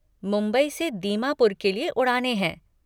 मुंबई से दीमापुर के लिए उड़ानें हैं।